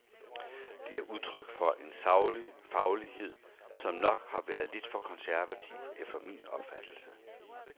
Det er udtryk for en saglig faglighed, som nok har været lidt for konservativ efter min opfattelse.